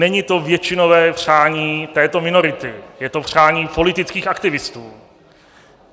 Není to většinové přání této minority, je to přání politických aktivistů.